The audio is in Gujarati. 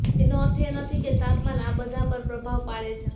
એનો અર્થ એ નથી કે તાપમાન આ બધા પર પ્રભાવ પાડે છે